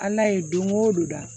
Ala ye don go don da